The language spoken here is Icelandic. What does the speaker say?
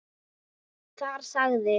Þar sagði